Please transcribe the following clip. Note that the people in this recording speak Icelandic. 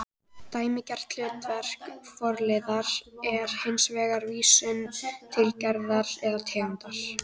Dæmigert hlutverk forliðar er hins vegar vísun til gerðar eða tegundar